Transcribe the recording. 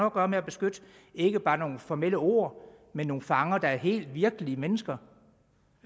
at gøre med at beskytte ikke bare nogle formelle ord men nogle fanger der er helt virkelige mennesker